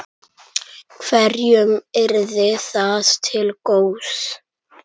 Hverjum yrði það til góðs?